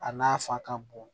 A n'a fa ka bon